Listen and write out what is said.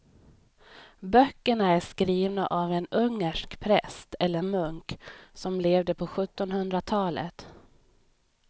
Böckerna är skrivna av en ungersk präst eller munk som levde på sjuttonhundratalet.